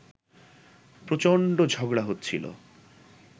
প্রচণ্ড ঝগড়া হচ্ছিল